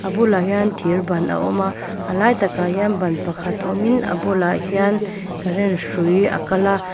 bulah hian thir ban a awm a a lai takah hian ban pakhat a awmin bulah hian karen hrui a kal a.